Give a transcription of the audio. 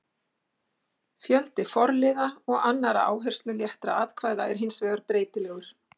Fjöldi forliða og annarra áhersluléttra atkvæða er hins vegar breytilegur.